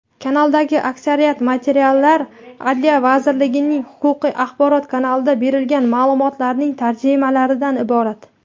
Kanaldagi aksariyat materiallar Adliya vazirligining "Huquqiy axborot" kanalida berilgan ma’lumotlarning tarjimalaridan iborat.